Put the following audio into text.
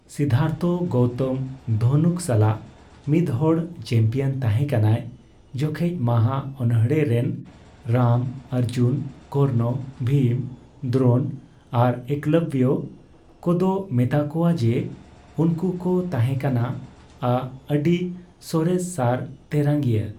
ᱥᱤᱫᱫᱷᱟᱨᱛᱷᱚ ᱜᱳᱣᱛᱚᱢ ᱫᱷᱚᱱᱩᱠ ᱥᱟᱞᱟᱜ ᱢᱤᱫᱦᱚᱲ ᱪᱟᱢᱯᱤᱭᱟᱱ ᱛᱟᱦᱮᱸ ᱠᱟᱱᱟᱭ, ᱡᱚᱠᱷᱮᱡ ᱢᱟᱦᱟ ᱚᱱᱚᱲᱦᱮᱸ ᱨᱮᱱ ᱨᱟᱢ, ᱚᱨᱡᱩᱱ, ᱠᱚᱨᱱᱚ, ᱵᱷᱤᱢ, ᱫᱨᱳᱱ ᱟᱨ ᱮᱠᱞᱚᱵᱽᱵᱚ ᱠᱚᱫᱚ ᱢᱮᱛᱟᱠᱳᱣᱟ ᱠᱚ ᱡᱮ ᱩᱱᱠᱩ ᱠᱚ ᱛᱟᱦᱮᱸ ᱠᱟᱱᱟ ᱟᱜ ᱟᱹᱰᱤ ᱥᱚᱨᱮᱥ ᱥᱟᱨ ᱛᱮᱨᱟᱝᱭᱤᱭᱟᱹ ᱾